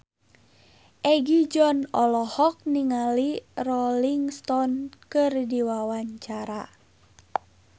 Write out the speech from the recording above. Egi John olohok ningali Rolling Stone keur diwawancara